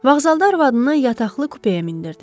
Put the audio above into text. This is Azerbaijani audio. Vəğzalda arvadını yataqlı kupəyə mindirdi.